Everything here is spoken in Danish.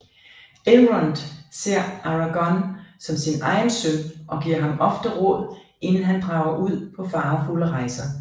Elrond ser Aragon som sin egen søn og gir ham ofte råd inden han drager ud på farefulde rejser